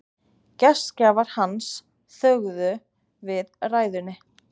Gestgjafar hans þögðu við ræðunni.